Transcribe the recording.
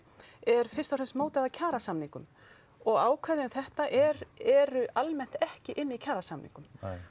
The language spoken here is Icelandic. er fyrst og fremst mótað af kjarasamningum og ákvæði um þetta eru eru almennt ekki inni í kjarasamningum